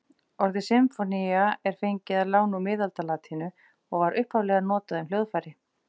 Orðið sinfónía er fengið að láni úr miðaldalatínu og var upphaflega notað um hljóðfæri.